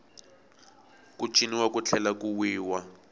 ku ciniwa ku tlhela ku wiwa